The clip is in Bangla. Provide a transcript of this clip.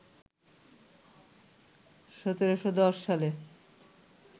১৭১০ সালে